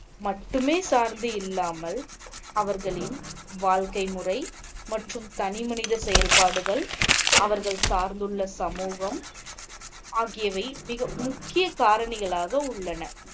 மட்டுமே சார்ந்து இல்லாமல், அவர்களின் வாழ்க்கை முறை மற்றும் தனி மனித செயல்பாடுகள், அவர்கள் சார்ந்துள்ள சமூகம் ஆகியவை மிக முக்கிய காரணிகளாக உள்ளன.